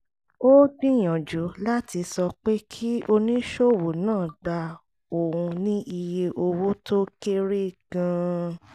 ó gbìyànjú láti sọ pé kí oníṣòwò náà gba òun ní iye owó tó kéré gan-an